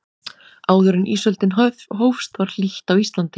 áður en ísöldin hófst var hlýtt á íslandi